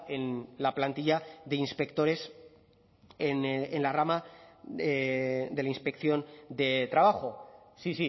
en la plantilla de inspectores en la rama de la inspección de trabajo sí